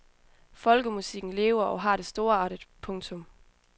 Folkemusikken lever og har det storartet. punktum